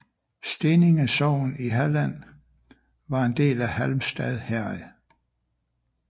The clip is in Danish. Steninge sogn i Halland var en del af Halmstad herred